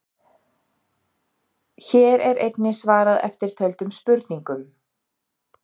Hér er einnig svarað eftirtöldum spurningum: